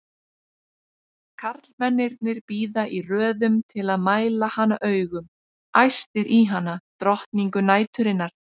Karlmennirnir bíða í röðum til að mæla hana augum, æstir í hana, drottningu næturinnar!